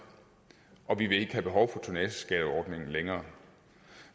og vi vil ikke have behov for tonnageskatteordningen længere